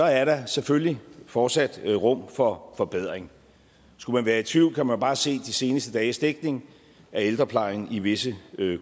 er der selvfølgelig fortsat rum for forbedring skulle man være i tvivl kan man bare se de seneste dages dækning af ældreplejen i visse